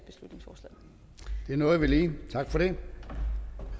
nåede vi lige tak for det